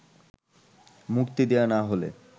মুক্তি দেয়া না হলে